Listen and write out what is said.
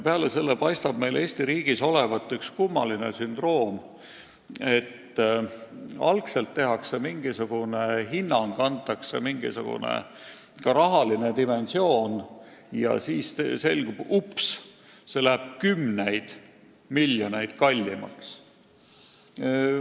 Peale selle paistab see Eesti riigis lausa säärane kummaline sündroom olevat, et algselt antakse mingisugune hinnang, pannakse paika mingisugune rahaline dimensioon ja siis upsti selgub, et asi läheb ikka kümneid miljoneid kallimaks.